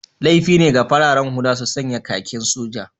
Laifi ne ga fararen hula su sanya kakin soja